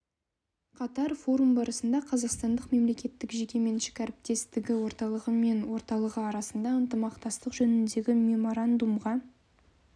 қатар форум барысында қазақстандық мемлекеттік жеке меншік әріптестігі орталығы мен орталығы арасында ынтымақтастық жөніндегі меморандумға